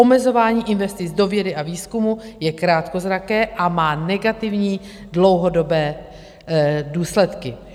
Omezování investic do vědy a výzkumu je krátkozraké a má negativní dlouhodobé důsledky.